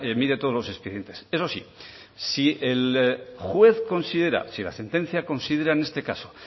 mire todos los expedientes eso sí si el juez considera o si la sentencia considera en este caso